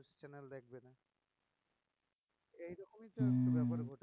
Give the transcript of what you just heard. হম